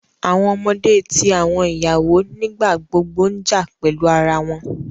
Awọn ọmọde ti awọn iyawo nigbagbogbo n ja pẹlu ara wọn